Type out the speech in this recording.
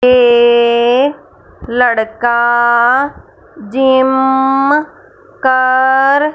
ये लड़का जिम कर--